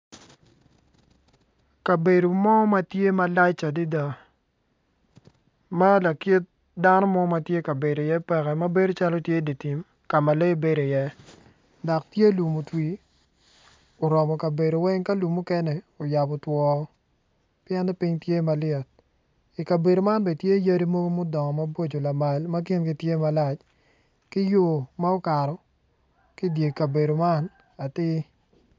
Kabedo mo matye malac adada ma lakit dano mo matye kabedo i iye peke matye calo dye tim ma lee bedo i iye dok tye lum otwi oromo kabedo weng ka lum mukene oyabo twoo pien ni piny tye malyet ikabedo man bene tye yadi mogo mudongo maboco lamal ma kingi tye malac ki yo ma okato ki idye kabedo man atir